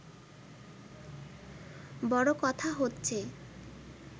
বড় কথা হচ্ছে